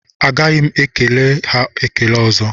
Agaghị m ekwere ha ekele ọzọ